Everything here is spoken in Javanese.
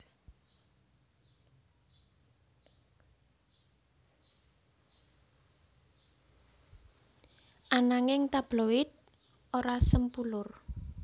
Ananging tabloid ora sempulur